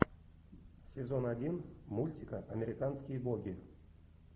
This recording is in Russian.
сезон один мультика американские боги